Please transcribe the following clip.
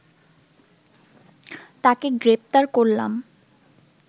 তাকে গ্রেপ্তার করলাম